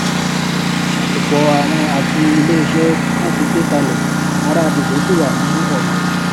àtòpọàwọn àti ilé iṣẹ wọn tì gbé kalẹ ará agbègbè sì wà ní ọnà